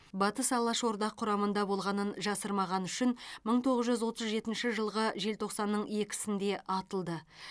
батыс алашорда құрамында болғанын жасырмағаны үшін мың тоғыз жүз отыз жетінші жылғы желтоқсанның екісінде атылды